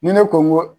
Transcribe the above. Ni ne ko n ko